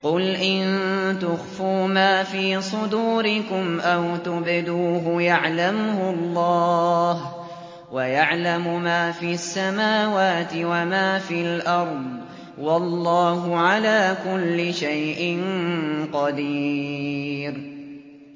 قُلْ إِن تُخْفُوا مَا فِي صُدُورِكُمْ أَوْ تُبْدُوهُ يَعْلَمْهُ اللَّهُ ۗ وَيَعْلَمُ مَا فِي السَّمَاوَاتِ وَمَا فِي الْأَرْضِ ۗ وَاللَّهُ عَلَىٰ كُلِّ شَيْءٍ قَدِيرٌ